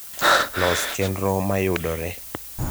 los chenro mayudore